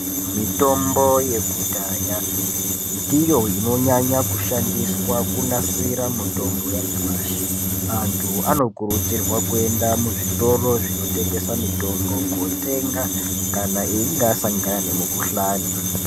Mitombo yekudhaya ndiyo inonyanya kushandiswa kunasira mitombo yanyamashi. Antu anokurudzirwa kuenda muzvitoro zvino tengesa mitombo kotenga kana einga asa ngana nemukuhlani.